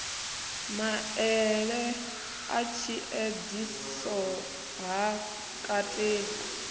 maele a tshiedziso ha kateli